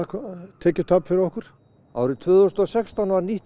tekjutap fyrir okkur árið tvö þúsund og sextán var nýtt